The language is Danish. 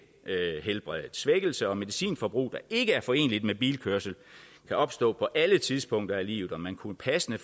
helbredet svækkelse og medicinforbrug der ikke er foreneligt med bilkørsel kan opstå på alle tidspunkter i livet og man kunne passende